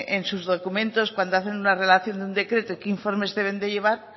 en sus documentos cuando hacen una relación de un decreto y qué informes deben de llevar